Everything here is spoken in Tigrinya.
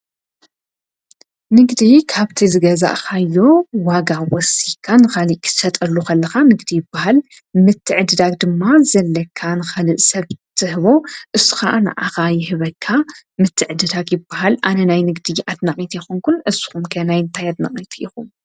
ንግዲ ካብቲ ዝገዛእኻዮ ይኹ ወሲካን ኸልክሰጠሉኽለኻ ንግዲ ይብሃል ምትዕድዳኽ ድማ ዘለካን ኸልእ ሰብዝህቦ እሱኻ ንኣኻ ይህበካ ምትዕድዳኽ ይብሃል ኣነ ናይ ንግዲ ኣትናቒት ኹንኩን እስኹምከናይ እንታይትነቒት ይኹ።